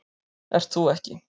Ert þú ekki